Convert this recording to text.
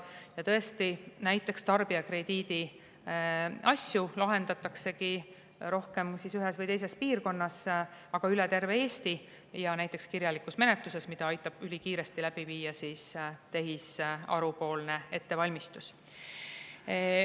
Ja tõesti, tarbijakrediidiasju lahendataksegi rohkem ühes või teises piirkonnas, aga ka üle terve Eesti, ja näiteks kirjalikus menetluses, mida aitab ülikiiresti läbi viia tehisarupoolne ettevalmistus.